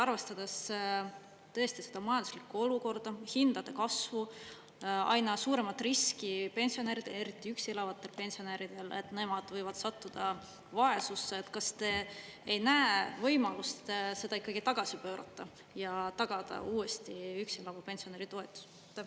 Arvestades tõesti seda majanduslikku olukorda, hindade kasvu, aina suuremat riski pensionäridele, eriti üksi elavatele pensionäridele, et nemad võivad sattuda vaesusesse, kas te ei näe võimalust seda ikka tagasi pöörata ja tagada uuesti üksi elava pensionäri toetus?